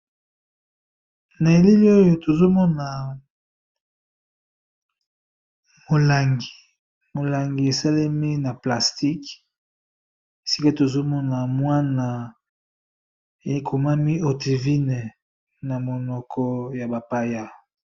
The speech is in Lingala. na eleli oyo tozomona molangi molangi esalemi na plastique esika tozomona mwana ekomami otivine na monoko ya bapaya